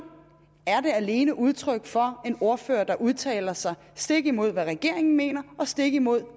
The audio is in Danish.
er det alene udtryk for at det er en ordfører der udtaler sig stik imod hvad regeringen mener og stik imod